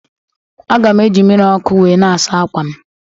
Aga m eji mmiri ọkụ wee na-asa ákwà m